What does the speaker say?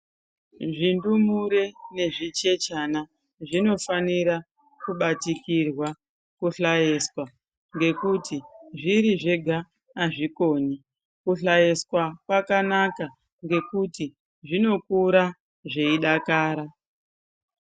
Zvindumure nezvichechana zvinofanira kubatikirwa, kuhlaeswa ngekuti zviri zvega azvikoni. Kuhlaeswa kwakanaka ngekuti zvinokura zveidakara.